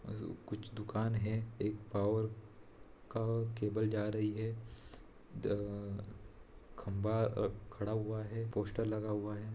कुछ दूकान है एक पावर का केबल जा रही है दा खम्बा खड़ा हुआ है पोस्टर लगा हुआ है।